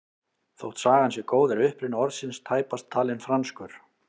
Þótt sagan sé góð er uppruni orðsins tæpast talinn franskur.